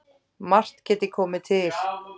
Margt geti komið til